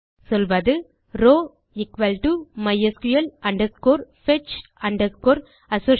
சொல்வது row mysql fetch associative